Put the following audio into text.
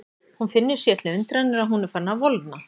Hún finnur sér til undrunar að hún er farin að volgna.